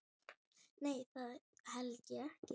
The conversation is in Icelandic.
Nei, það held ég ekki.